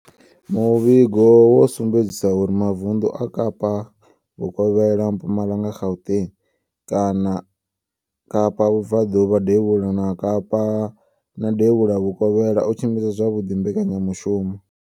Muvhigo wo sumbedzisa uri mavundu a Kapa Vhukovhela, Mpumalanga, Gauteng, Kapa Vhubvaḓuvha, Devhula ha Kapa na Devhula Vhukovhela o tshimbidza zwavhuḓi mbekanyamushumo.